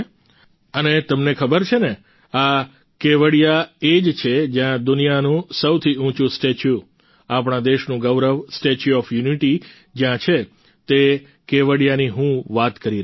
અને તમને ખબર છે ને આ કેવડિયા એ જ છે જ્યાં દુનિયાનું સૌથી ઉંચું સ્ટેચ્યુ આપણા દેશનું ગૌરવ સ્ટેચ્યુ ઓફ યુનિટી જ્યાં છે તે કેવડિયાની હું વાત કરું છું